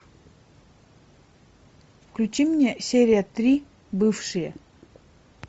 включи мне серия три бывшие